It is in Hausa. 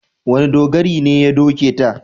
Wane dogari ne ya doke ta?